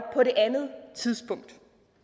på det andet tidspunkt